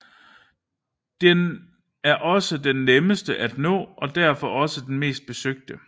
Den er også den nemmeste at nå og derfor også den mest besøgte